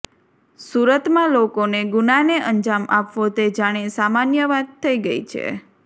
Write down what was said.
સુરતમાં લોકોને ગુનાને અંજામ આપવો તે જાણે સામાન્ય વાત થઈ ગઈ છે